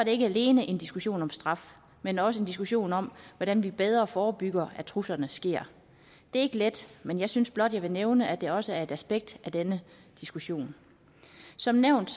ikke alene en diskussion om straf men også en diskussion om hvordan vi bedre forebygger at truslerne sker det er ikke let men jeg synes blot at jeg vil nævne at det også er et aspekt af denne diskussion som nævnt